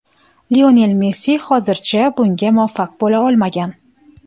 Lionel Messi hozircha bunga muvaffaq bo‘la olmagan.